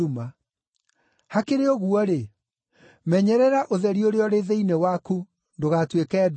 Hakĩrĩ ũguo-rĩ, menyerera ũtheri ũrĩa ũrĩ thĩinĩ waku ndũgatuĩke nduma.